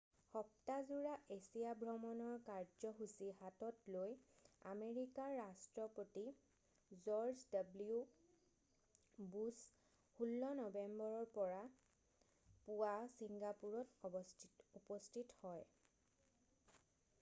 সপ্তাহজোৰা Asia ভ্ৰমণৰ কাৰ্যসূচী হাতত লৈ আমেৰিকাৰ ৰাষ্ট্ৰপতি জৰ্জ ডব্লিউ বুশ্ব 16 নৱেম্বৰৰ পুৱা ছিংগাপুৰত উপস্থিত হয়